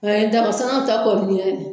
An ye dagasanna ta kɔni